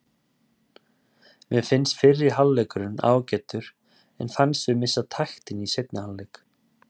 Mér fannst fyrri hálfleikurinn ágætur en fannst við missa taktinn í seinni hálfleik.